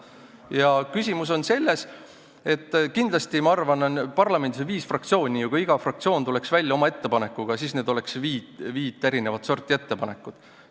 Ja ma arvan, et küsimus on selles, et kuna parlamendis on viis fraktsiooni, siis kui iga fraktsioon tuleks välja oma ettepanekuga, oleks need viit erinevat sorti ettepanekud.